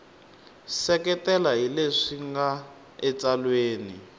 seketela hi leswi nga etsalweni